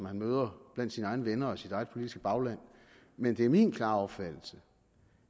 han møder blandt sine egne venner og i sit eget politiske bagland men det er min klare opfattelse